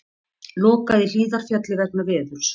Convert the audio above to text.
Lokað í Hlíðarfjalli vegna veðurs